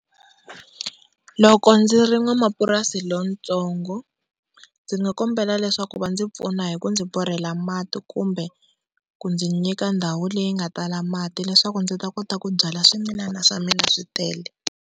Loko ndzi ri n'wamapurasi lontsongo ndzi nga kombela leswaku va ndzi pfuna hi ku ndzi borhela mati kumbe ku ndzi nyika ndhawu le yi nga tala mati leswaku ndzi ta kota ku byala swimila swa mina swi tele.